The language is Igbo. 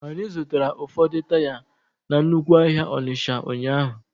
Anyị zụtara ụfọdụ taya na nnukwu ahịa Onitsha ụnyahụ.